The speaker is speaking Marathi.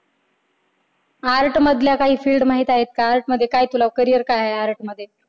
art मधल्या काही field माहित आहेत का art मध्ये तुला काय carrier काय आहे art मध्ये